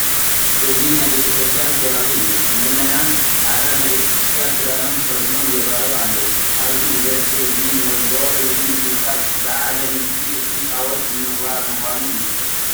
እዚ ናይ ቤተ ክርስቲያን ከባቢ እዩ፡፡ ምእመናን ፃዕዳ ናይ ቤተ ክርስቲያን ክዳኖም ተኸዲኖም ይርአዩ ኣለዉ፡፡ ካብዚ ብዝሒ ህዝቢ ንርድኦ እዚ ምስብሳብ በዓለ ንግሲ እቲ ታቦን ንምኽባር ምኳኑ እዩ፡፡